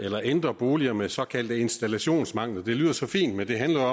at ændre boliger med såkaldte installationsmangler det lyder så fint men det handler